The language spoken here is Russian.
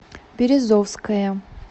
березовская